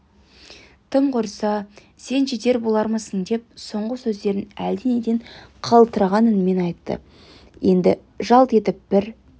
тым құрса сен жетер болармысың деп соңғы сөздерін әлденеден қалтыраған үнмен айтты енді жалт етіп бір